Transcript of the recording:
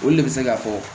Olu le bɛ se ka fɔ